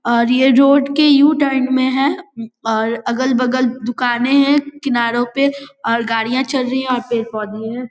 और ये रोड के यू टर्न में है और अगल-बगल दुकाने है किनारो पे और गाड़िया चल रही है और पेड़-पौधे है।